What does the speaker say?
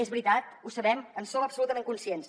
és veritat ho sabem en som absolutament conscients